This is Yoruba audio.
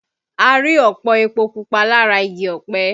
A rí ọ̀pọ̀ epo pupa lára igi ọpẹ